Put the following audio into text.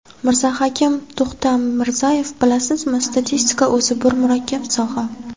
Mirzahakim To‘xtamirzayev: Bilasizmi, statistika o‘zi bir murakkab soha.